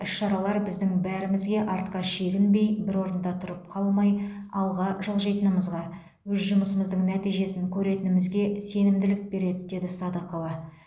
іс шаралар біздің бәрімізге артқа шегінбей бір орында тұрып қалмай алға жылжитынымызға өз жұмысымыздың нәтижесін көретінімізге сенімділік береді деді садықова